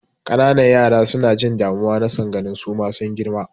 Ƙananan yara suna jin damuwa na son ganin suma sun girma.